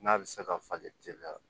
N'a bɛ se ka falen teliya